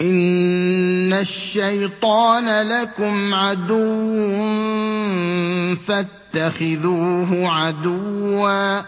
إِنَّ الشَّيْطَانَ لَكُمْ عَدُوٌّ فَاتَّخِذُوهُ عَدُوًّا ۚ